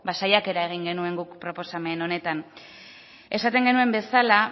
saiakera egin genuen guk proposamen honetan esaten genuen bezala